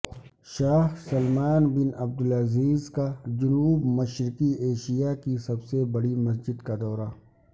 شاہ Salman bin Abdulaziz کا جنوب مشرقی ایشیا کی سب سے بڑی مسجد کا دورہ